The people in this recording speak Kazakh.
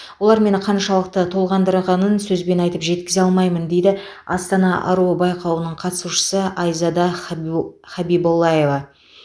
олар мені қаншалықты толғандырғанын сөзбен айтып жеткізе алмаймын дейді астана аруы байқауының қатысушысы айзада хабибу хабиболлаева